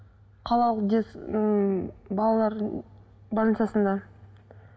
қалалық ммм балалар больницасында